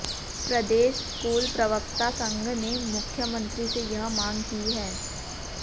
प्रदेश school प्रवक्ता संघ ने मुख्यमंत्री से यह मांग की है